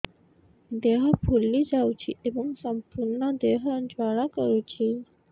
ଦେହ ଫୁଲି ଯାଉଛି ଏବଂ ସମ୍ପୂର୍ଣ୍ଣ ଦେହ ଜ୍ୱାଳା କରୁଛି